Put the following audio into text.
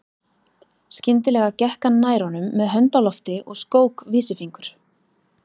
Skyndilega gekk hann nær honum með hönd á lofti og skók vísifingur.